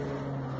Baxın.